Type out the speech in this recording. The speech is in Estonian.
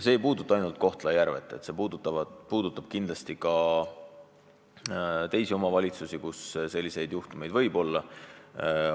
See ei puuduta ainult Kohtla-Järvet, see puudutab kindlasti ka teisi omavalitsusi, kus selliseid juhtumeid võib olla.